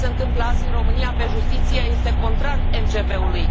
Orice se întâmplă azi în România, pe justiție, este contrar MCV ului.